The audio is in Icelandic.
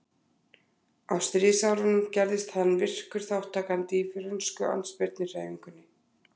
Á stríðsárunum gerðist hann virkur þátttakandi í frönsku andspyrnuhreyfingunni.